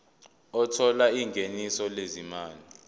othola ingeniso lezimali